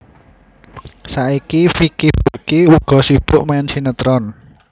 Saiki Vicky Burky uga sibuk main sinétron